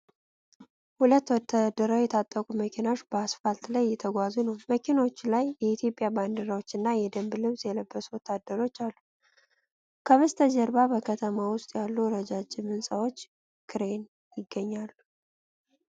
ሁለት ወታደራዊ የታጠቁ መኪኖች በአስፋልት ላይ እየተጓዙ ነው። በመኪኖቹ ላይ የኢትዮጵያ ባንዲራዎችና የደንብ ልብስ የለበሱ ወታደሮች አሉ፤ ከበስተጀርባ በከተማው ውስጥ ያሉ ረጃጅም ሕንፃዎችና ክሬን ይገኛሉ።